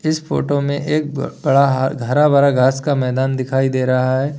इस फोटो में एक ब बड़ा हर हरा-भरा घास का मैदान दिखाई दे रहा है।